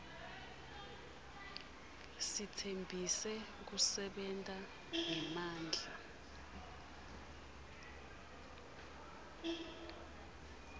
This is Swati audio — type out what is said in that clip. sitsembise kusebenta ngemandla